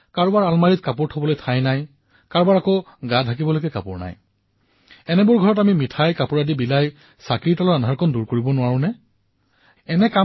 এইবাৰ দিপাৱলীত ভাৰতৰ এই লক্ষ্মীৰ সন্মানৰ বাবে আমি কেনেধৰণৰ কাৰ্যসূচী পালন কৰিব পাৰো আমাৰ ওচৰেপাজৰে এনে বহু কন্যা সন্তান বোৱাৰী থাকিব যিয়ে এই অসাধাৰণ কাম কৰি আছে